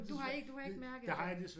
Du har iukke du har ikke mærket det